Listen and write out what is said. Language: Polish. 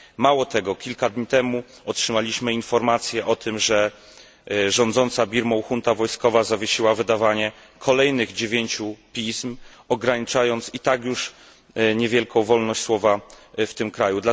Mało tego, kilka dni temu otrzymaliśmy informację o tym, że rządząca Birmą junta wojskowa zawiesiła wydawanie kolejnych dziewięciu pism, ograniczając i tak już niewielką wolność słowa w tym kraju.